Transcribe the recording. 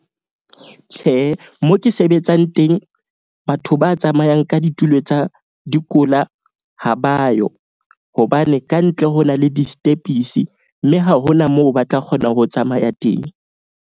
Tjhe, moo ke sebetsang teng, batho ba tsamayang ka ditulo tsa dikola ha ba yo. Hobane kantle ho na le di-step-pisi, mme ha hona moo ba tla kgona ho tsamaya teng.